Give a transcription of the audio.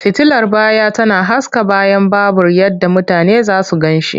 Fitilar baya tana haska bayan babur yadda mutane za su gan shi.